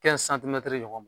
ɲɔgɔn ma